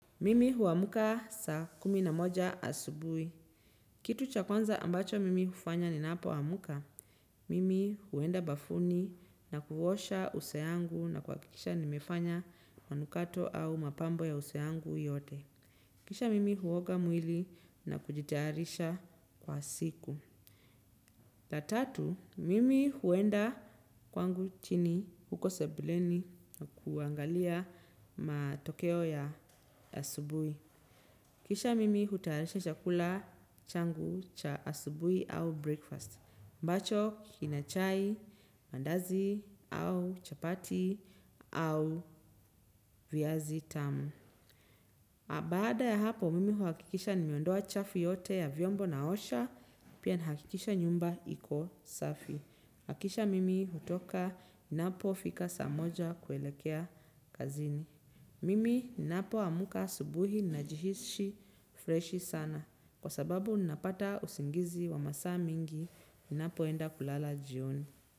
Mimi huamka saa kumi na moja asubui. Kitu cha kwanza ambacho mimi hufanya ninapo amka, mimi huenda bafuni na kuosha uso yangu na kuhakikisha nimefanya mkato au mapambo ya uso yangu yote. Kisha mimi huoga mwili na kujitayarisha kwa siku. La tatu, mimi huenda kwangu chini huko sebuleni kuangalia matokeo ya asubui. Kisha mimi hutayarisha chakula changu cha asubui au breakfast. Ambacho kina chai, mandazi au chapati au viazi tamu. Baada ya hapo mimi huhakikisha nimeondoa chafu yote ya vyombo naosha pia na hakikisha nyumba iko safi. Hakisha mimi hutoka inapo fika saa moja kuelekea kazini. Mimi ninapo amka asubuhi ninajihisi freshi sana kwa sababu ninapata usingizi wa masaa mingi ninapoenda kulala jioni.